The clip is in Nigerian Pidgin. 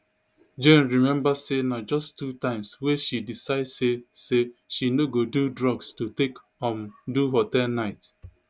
jane remember say na just two times wey she decide say say she no go do drugs to take um do hotel night